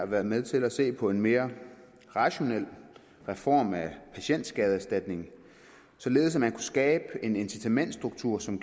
være med til at se på en mere rationel reform af patientskadeerstatningen således at man skabe en incitamentsstruktur som